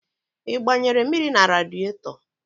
Ị gbanyere mmiri na radịetọ?